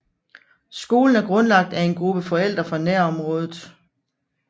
Skolen er grundlagt af en gruppe forældre fra nærområdet